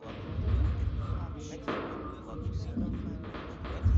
андрею анатольевичу